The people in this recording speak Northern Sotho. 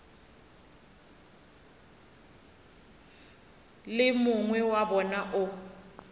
le mongwe wa bona o